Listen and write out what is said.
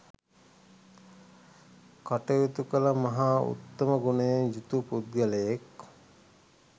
කටයුතු කල මහා උත්තම ගුණයෙන් යුතු පුද්ගලයෙක්